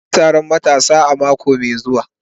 Za a yi taron matasa a mako mai zuwa